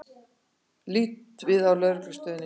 Líta við á Lögreglustöðinni.